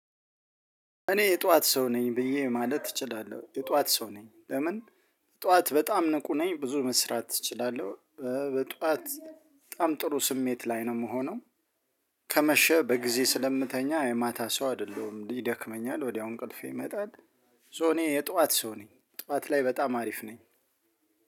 እኔ የጧት ሰው ነኝ ብዬ ማለት እችላለሁ የጧት ሰው ነኝ ለምን ጧት በጣም ንቁ ነኝ ብዙ መስራት እችላለሁ። በጧት በጣም ጥሩ ስሜት ላይ ነው የምሆነው። ከመሸ በጊዜ ስለምተኛ የማታ ሰው አይደለሁም ይደክመኛል ወዲያው እንቅልፌ ይመጣል። ሶ እኔ የጧት ሰው ነኝ ጧት ላይ በጣም አሪፍ ነኝ።